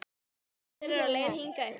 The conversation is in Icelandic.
Gerður er á leið hingað upp.